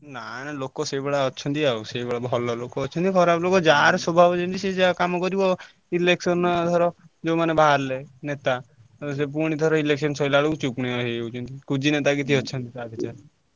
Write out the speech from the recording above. ନାଇଁ ଲୋକ ସେଇଭଳିଆ ଅଛନ୍ତି ଆଉ ସେଇଭଳିଆ ଭଲ ଲୋକ ଅଛନ୍ତି ଖରାପ ଲୋକ ଯାହାର ସ୍ଵଭାବ ଯେମିତି ସିଏ ସେୟା କାମ କରିବ। election ଧର ଯୋଉ ମାନେ ବାହାରିଲେ ନେତା ଆଉ ସେ ପୁଣି ଥରେ election ସଇଲା ବେଳକୁ ଚୁପ କିନା ହେଇଯାଉଛନ୍ତି। କୁଜି ନେତା କିଛି ଅଛନ୍ତି ।